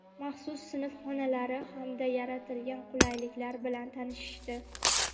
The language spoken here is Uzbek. maxsus sinf xonalari hamda yaratilgan qulayliklar bilan tanishishdi.